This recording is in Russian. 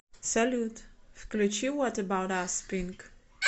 салют включи вот эбаут ас пинк